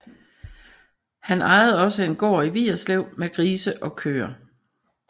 Han ejede også en gård i Vigerslev med grise og køer